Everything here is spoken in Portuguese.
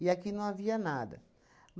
E aqui não havia nada.